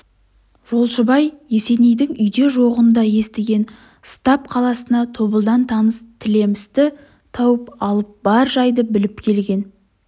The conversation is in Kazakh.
жолшыбай есенейдің үйде жоғын да естіген стап қаласында тобылдан таныс тілемісті тауып алып бар жайды біліп келген